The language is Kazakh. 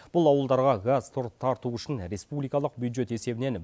бұл ауылдарға газ тарту үшін республикалық бюджет есебінен